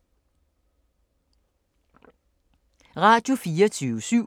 Radio24syv